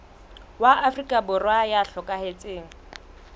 wa afrika borwa ya hlokahetseng